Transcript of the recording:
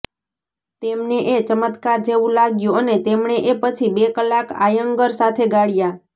તેમને એ ચમત્કાર જેવું લાગ્યું અને તેમણે એ પછી બે કલાક આયંગર સાથે ગાળ્યા